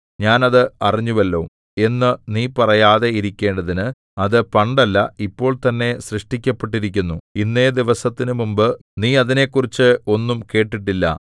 ഞാൻ അത് അറിഞ്ഞുവല്ലോ എന്നു നീ പറയാതെ ഇരിക്കേണ്ടതിന് അത് പണ്ടല്ല ഇപ്പോൾതന്നെ സൃഷ്ടിക്കപ്പെട്ടിരിക്കുന്നു ഇന്നേദിവസത്തിനു മുമ്പ് നീ അതിനെക്കുറിച്ച് ഒന്നും കേട്ടിട്ടില്ല